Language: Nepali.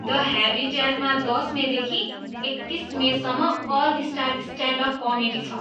द ह्याबिट्याटमा दस मेदेखि एकतिस मेसम्म अल स्टार स्ट्यान्डअप कमेडी छ।